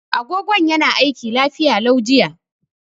Agogon yana aiki lafiya lau jiya.